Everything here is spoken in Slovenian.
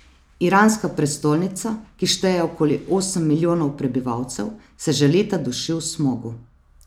Iranska prestolnica, ki šteje okoli osem milijonov prebivalcev, se že leta duši v smogu.